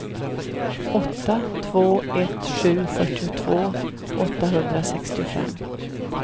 åtta två ett sju fyrtiotvå åttahundrasextiofem